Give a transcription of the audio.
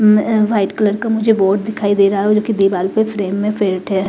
उम्म white colour का मुझे board दिखाई दे रहा है जो कि दीवाल पे फ्रेम मे फिट है।